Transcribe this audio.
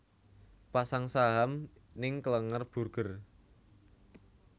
Pasang saham ning Klenger Burger